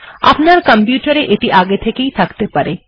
আপনার কম্পিউটার এ এটি আগে থেকে এ থাকতে পারে